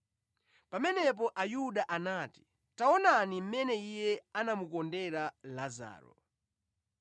Pamenepo Ayuda anati, “Taonani mmene Iye anamukondera Lazaro!”